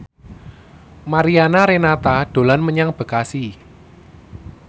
Mariana Renata dolan menyang Bekasi